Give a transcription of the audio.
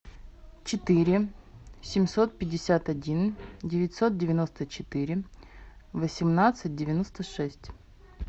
четыре семьсот пятьдесят один девятьсот девяносто четыре восемнадцать девяносто шесть